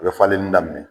U bɛ falenni daminɛ